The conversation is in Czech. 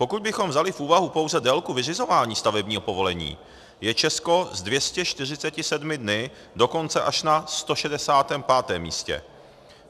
Pokud bychom vzali v úvahu pouze délku vyřizování stavebního povolení, je Česko s 247 dny dokonce až na 165. místě.